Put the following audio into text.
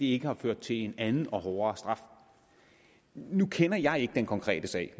ikke har ført til en anden og hårdere straf nu kender jeg ikke den konkrete sag